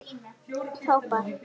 Þá bar